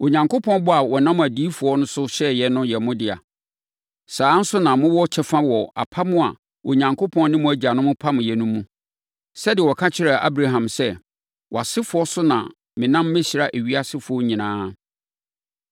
Onyankopɔn bɔ a ɔnam adiyifoɔ so hyɛeɛ no yɛ mo dea. Saa ara nso na mowɔ kyɛfa wɔ apam a Onyankopɔn ne mo agyanom pameeɛ no mu. Sɛdeɛ ɔka kyerɛɛ Abraham sɛ, ‘Wʼasefoɔ so na menam mɛhyira ewiasefoɔ nyinaa.’